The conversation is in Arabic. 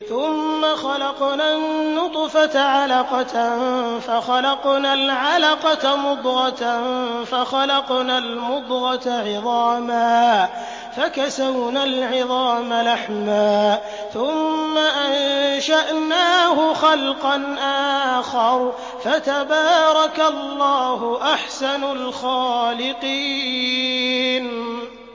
ثُمَّ خَلَقْنَا النُّطْفَةَ عَلَقَةً فَخَلَقْنَا الْعَلَقَةَ مُضْغَةً فَخَلَقْنَا الْمُضْغَةَ عِظَامًا فَكَسَوْنَا الْعِظَامَ لَحْمًا ثُمَّ أَنشَأْنَاهُ خَلْقًا آخَرَ ۚ فَتَبَارَكَ اللَّهُ أَحْسَنُ الْخَالِقِينَ